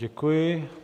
Děkuji.